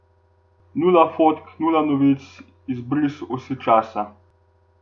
Nula fotk, nula novic, izbris osi časa.